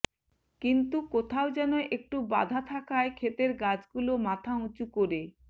কিন্তু কোথাও যেন একটু বাধা থাকায় ক্ষেতের গাছগুলো মাথা উঁচু করে